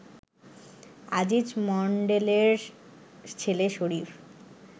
আজিজ মন্ডলের ছেলে শরীফ